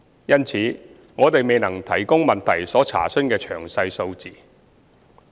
因此，我們未能提供質詢所查詢的詳細數字。